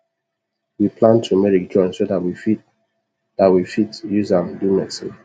we plant tumeric join so that we fit that we fit use am do medicine